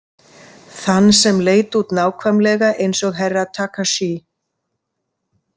Þann sem leit út nákvæmlega eins og Herra Takashi.